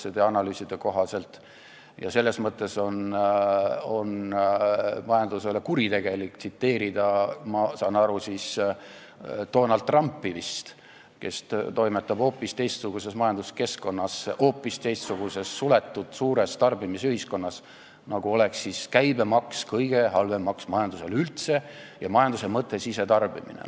Majanduse mõttes on kuritegelik tsiteerida, ma sain aru, vist Donald Trumpi, kes toimetab hoopis teistsuguses majanduskeskkonnas, hoopis teistsuguses, suletud suures tarbimisühiskonnas ja on öelnud, nagu oleks käibemaks kõige halvem maks majandusele üldse ja majanduse mõte oleks sisetarbimine.